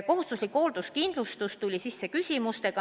Kohustusliku hoolduskindlustuse teema tuli sisse küsimustega.